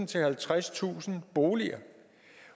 til halvtredstusind boliger